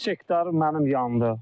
Üç hektar mənim yandı.